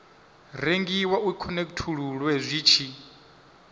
rengiwa u khonekhithululwe zwi tshi